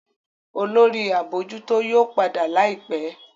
Olórí abojuto yóò pàdà láìpé.